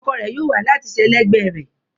Ọkọ rẹ̀ yóò wà láé láti sẹlẹ̀gbẹ̀ rẹ̀.